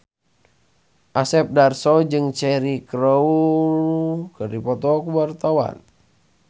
Asep Darso jeung Cheryl Crow keur dipoto ku wartawan